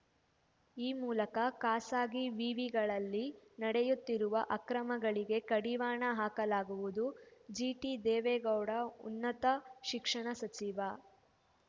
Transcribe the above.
ಈ ಮೂಲಕ ಖಾಸಗಿ ವಿವಿಗಳಲ್ಲಿ ನಡೆಯುತ್ತಿರುವ ಅಕ್ರಮಗಳಿಗೆ ಕಡಿವಾಣ ಹಾಕಲಾಗುವುದು ಜಿಟಿ ದೇವೇಗೌಡ ಉನ್ನತ ಶಿಕ್ಷಣ ಸಚಿವ